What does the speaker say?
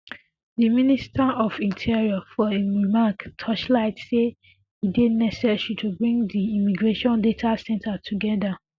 di minister of interior for im remarks torchlight say e dey necessary to bring di immigration data centre togeda